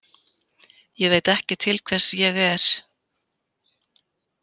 Ég veit ekki til hvers ég er.